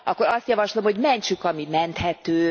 Akkor azt javaslom, hogy mentsük, ami menthető.